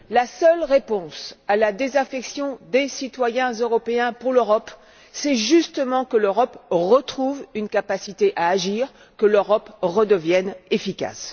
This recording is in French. la seule réponse à la désaffection des citoyens européens pour l'Europe, c'est justement que l'Europe retrouve une capacité à agir, que l'Europe redevienne efficace.